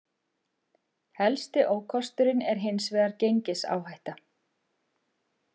Helsti ókosturinn er hins vegar gengisáhætta.